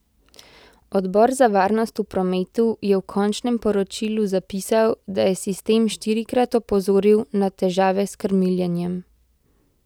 Odbor za varnost v prometu je v končnem poročilu zapisal, da je sistem štirikrat opozoril na težave s krmiljenjem.